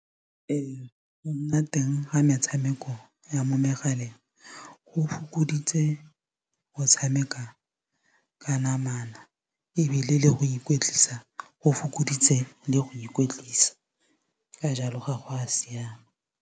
Go nna teng ga metshameko ya mo megaleng go fokoditse go tshameka ka namana ebile le go ikwetlisa go fokoditse le go ikwetlisa ka jalo ga go a siama.